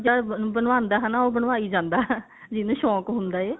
ਜਦ ਬਣਵਾਉਦਾ ਹਨਾ ਉਹ ਬਣਵਾਈ ਜਾਂਦਾ ਜਿਹਨੇ ਸ਼ੋਂਕ ਹੁੰਦਾ ਏ